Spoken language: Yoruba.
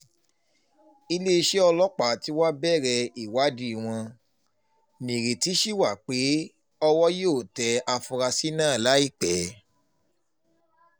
iléeṣẹ́ ọlọ́pàá tí wàá bẹ̀rẹ̀ ìwádìí wọn nírètí sí wa pé owó yóò tẹ àfúrásì náà láìpẹ́